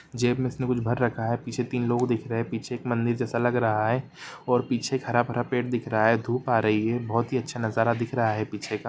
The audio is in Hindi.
जेब में इसने कुछ भर रखा है पीछे तीन लोग दिख रहे है पीछे एक मंदिर जैसा लग रहा है और पीछे एक हरा भरा पेड़ दिख रहा है धुप आ रही है बहुत ही अच्छा नजारा दिख रहा है पीछे का।